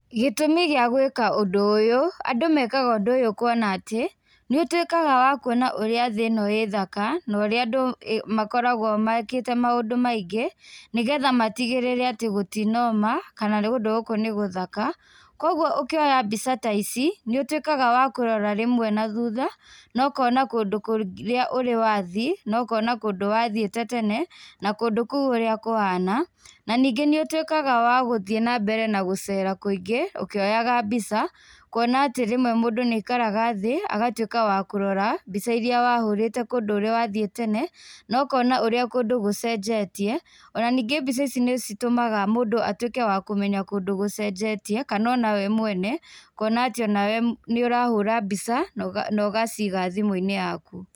Gĩtũmi gĩa gwĩka ũndũ ũyũ, andũ mekaga ũndũ ũyũ kuona atĩ, nĩ ũtuĩkaga wa kũona ũrĩa thĩ ĩno ĩ thaka na ũrĩa andũ makoragũo mekĩte maũndũ maingĩ, nĩgetha matĩgĩrĩre atĩ gũtinooma kana kũndũ gũkũ nĩ gũthaka. Koguo ũkĩoya mbica ta ici, nĩ ũtuĩkaga wa kũrora rĩmwe nathutha na ũkona kũndũ kũrĩa rĩmwe ũrĩ wathiĩ, na ũkona kũndũ wathiĩte tene na kũndũ kũu ũrĩa kũhana. Na ningĩ nĩ ũtuĩkaga wa gũthiĩ na mbere na gũcera kũingĩ ũkĩoyaga mbica, kuona atĩ rĩmwe mũndũ nĩ aikaraga thĩ agatuĩka wa kũrora mbica irĩa wahũrĩte kũndũ ũrĩ wathiĩ tene na ũkona ũrĩa kũndũ gũcenjetie. Ona ningĩ mbica ici nĩ citũmaga mũndũ atuĩke wa kũmenya kũndũ gũcenjetie kana ona we mwene. Ũkona atĩ nĩ ũrahũra mbica na ũgaciga thimũ-inĩ yaku.